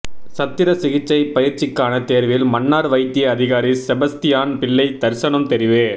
சத்திர சிகிச்சை பயிற்சிக்கான தேர்வில் மன்னார் வைத்திய அதிகாரி செபஸ்தியான் பிள்ளை தர்சனும் தெரிவு